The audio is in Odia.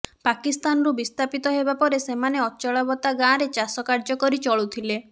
ପାକିସ୍ତାନରୁ ବିସ୍ଥାପିତ ହେବା ପରେ ସେମାନେ ଅଚଳାବତା ଗାଁରେ ଚାଷ କାର୍ଯ୍ୟ କରି ଚଳୁଥିଲେ